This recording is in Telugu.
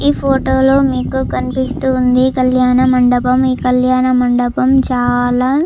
ఈ ఫోటో లో మీకు కనిపిస్తూ ఉంది ఒక కల్యాణ మండపం. ఈ కళ్యాణ మండపం చాలా--